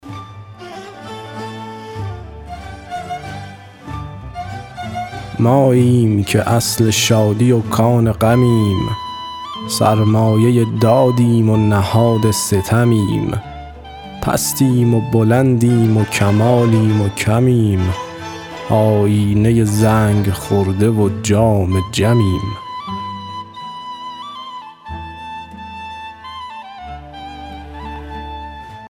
ماییم که اصل شادی و کان غمیم سرمایه دادیم و نهاد ستمیم پستیم و بلندیم و کمالیم و کمیم آیینه زنگ خورده و جام جمیم